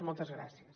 moltes gràcies